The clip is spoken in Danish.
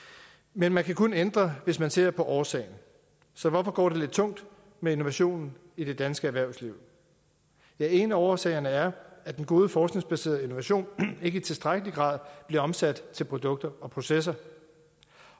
men man kan kun ændre hvis man ser på årsagen så hvorfor går det lidt tungt med innovationen i det danske erhvervsliv ja en af årsagerne er at den gode forskningsbaserede innovation ikke i tilstrækkelig grad bliver omsat til produkter og processer